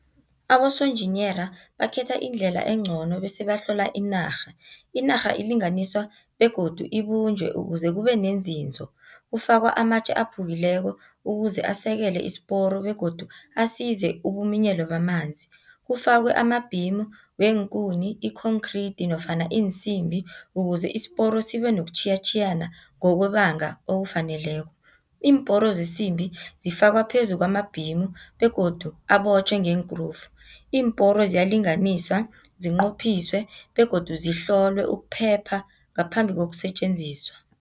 Abosonjiniyera, bakhetha indlela encono bese bahlola inarha, inarha ilinganiswa begodu ibunjwe ukuze kubenenzinzo. Kufakwa amatje aphukileko ukuze asekele isiporo, begodu asize ukuminyelwa kwamanzi. Kufakwe amabhimu neenkuni, ikhonkhridi nofana iinsimbi ukuze isiporo sibe nokutjhiyatjhiyana ngokwebanga okufaneleko. Iimporo zesimbi zifakwa phezu kwamabhimu begodu abotjhwe ngeenkrufu. Iimporo ziyalinganiswa, zinqophiswe, begodu zihlolwe ukuphepha ngaphambi kokusetjenziswa.